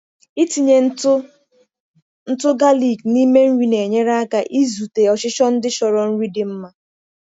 Ịtinye ntụ ntụ galik n’ime nri na-enyere aka izute ọchịchọ ndị chọrọ nri dị mma.